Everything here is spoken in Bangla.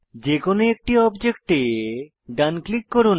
যেকোনো একটি অবজেক্টে ডান ক্লিক করুন